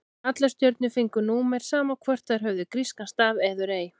Allar stjörnur fengu númer, sama hvort þær höfðu grískan staf eður ei.